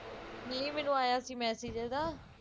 ਨਹੀ ਮੰਗਵਾਇਆ ਸੀ message ਉਹਦਾ